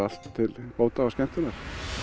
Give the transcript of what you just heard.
allt til bóta og skemmtunar